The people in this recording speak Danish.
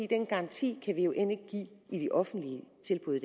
den garanti kan vi jo end ikke give i det offentlige tilbud